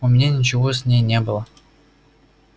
у меня ничего с ней не было